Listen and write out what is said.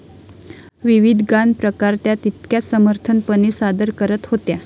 विविध गानप्रकार त्या तितक्याच समर्थपणे सादर करत होत्या.